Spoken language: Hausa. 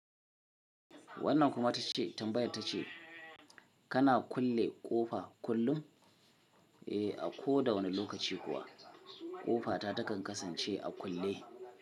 Wannan kuma ta ce tambayar ta ce kana kulle ƙofa kullum? Eh, a ko da wani lokaci kuwa ƙofa ta takan kasance a kulle.